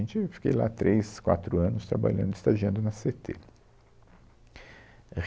A gente, eu fiquei lá três, quatro anos trabalhando, estagiando na Cê tê.